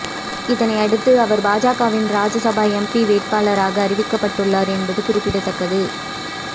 இதனை அடுத்து அவர் பாஜகவின் ராஜ்யசபா எம்பி வேட்பாளராக அறிவிக்கப்பட்டு உள்ளார் என்பது குறிப்பிடத்தக்கது